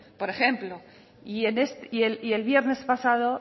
por ejemplo y el viernes pasado